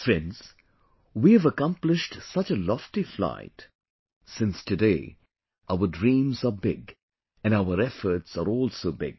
Friends, we have accomplished such a lofty flight since today our dreams are big and our efforts are also big